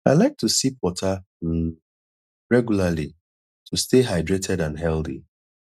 i like to sip water um regularly to stay hydrated and healthy